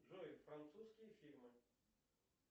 джой французские фильмы